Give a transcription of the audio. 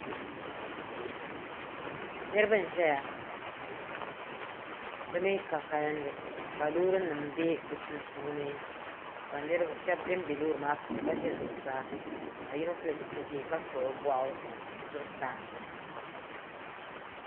Niriba n-ʒeya bɛ mi ka kalinli ka loorinima be bɛ sunsuuni ka shɛba bembe loori maa puuni ka ʒe zuɣusaa ka yino pili zipili ʒee ka kpuɣi o bɔɣu zuɣusaa.